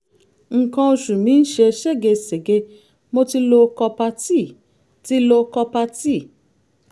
nǹkan oṣù mi ń ṣe ségesège mo ti lo copper-t ti lo copper-t